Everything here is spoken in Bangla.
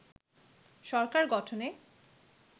সরকার গঠনে